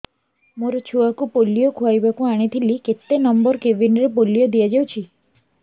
ମୋର ଛୁଆକୁ ପୋଲିଓ ଖୁଆଇବାକୁ ଆଣିଥିଲି କେତେ ନମ୍ବର କେବିନ ରେ ପୋଲିଓ ଦିଆଯାଉଛି